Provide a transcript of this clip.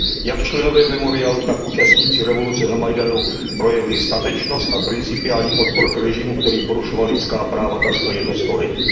Jak členové Memorialu, tak účastníci revoluce na Majdanu projevili statečnost a principiální odpor k režimu, který porušoval lidská práva takřka jedno století.